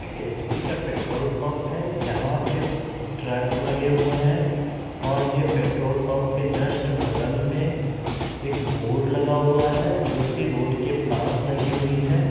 एक एच_पी का petrol pump है यहां पर यहां पर ट्रक लगा हुआ है और ये पेट्रोल पंप के जस्ट बगल में एक बोर्ड लगा हुआ है जो की रोड के पास है।